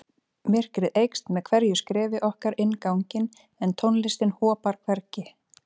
Myrkrið eykst með hverju skrefi okkar inn ganginn en tónlistin hopar hvergi.